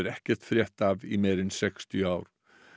ekkert frétt af í meira en sextíu ár